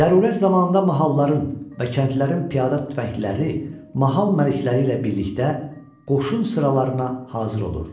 Zərurət zamanında mahalların və kəndlərin piyada tüfəngliləri mahal məlikləri ilə birlikdə qoşun sıralarına hazır olurdular.